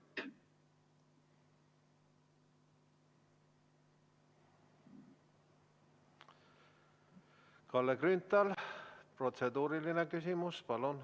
Kalle Grünthal, protseduuriline küsimus, palun!